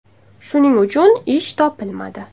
Shuning uchun ish topolmadi.